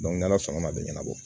n'ala sɔnn'a bɛ ɲɛnabɔ